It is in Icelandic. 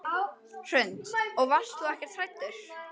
Hrund: Og varst þú ekkert hræddur?